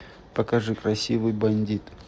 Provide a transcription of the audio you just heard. покажи красивый бандит